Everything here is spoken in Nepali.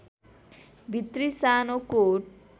भित्री सानो कोट